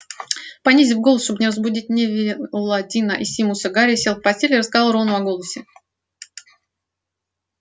понизив голос чтобы не разбудить невилла дина и симуса гарри сел в постели и рассказал рону о голосе